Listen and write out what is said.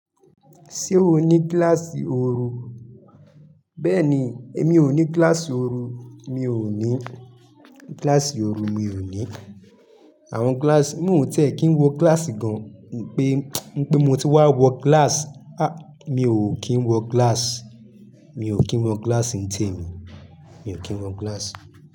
Ṣé o ní gíláàsì oorun? Bẹ́ẹ̀ni, èmi ò ní gíláàsì ooru, mi ò ní gíláàsì ooru, mi ò ní. Àwọn gíláàsì, mo ò tiẹ́ kì ń wọ gíláàsì gan, wipé mo ti wá wọ gíláàsì. À, mi ò kí ń wọ gíláàsì, mi ò kí ń wọ gíláàsì ń tẹ mí, mi ò kí ń wọ gíláàsì.